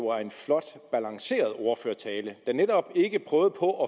var en flot balanceret ordførertale der netop ikke prøvede på at